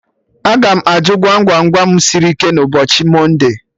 Aga m ajụ Gwam Gwam Gwam sịrị ike na ụbọchị mọnde